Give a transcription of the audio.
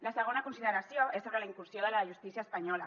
la segona consideració és sobre la incursió de la justícia espanyola